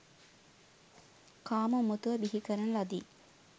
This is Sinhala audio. කාම උමතුව බිහි කරන ලදී.